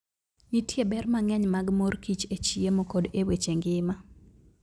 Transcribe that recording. Nitie ber mang'eny mag mor kich e chiemo koda e weche ngima.